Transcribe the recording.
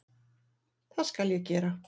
Það skal ég gera